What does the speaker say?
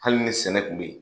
Hali ni sɛnɛ tun bɛ yen,